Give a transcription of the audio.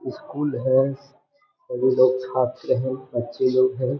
School है। सभी लोग छात्र हैं बच्चे लोग हैं।